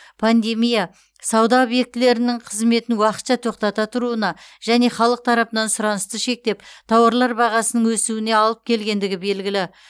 пандемия сауда объектілерінің қызметін уақытша тоқтата тұруына және халық тарапынан сұранысты шектеп тауарлар бағасының өсуіне алып келгендігі белгілі